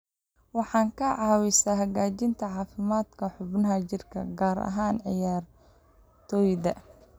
Waxay ka caawisaa hagaajinta caafimaadka xubnaha jirka, gaar ahaan ciyaartoyda.